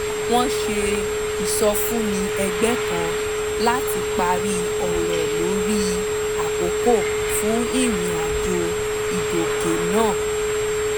wọ́n ṣe ìsọfúnni ẹgbẹ́ kan láti parí ọ̀rọ̀ lórí àkókò fún ìrìn àjò ìgọ̀kè náà